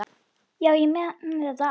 Já, ég man þetta allt.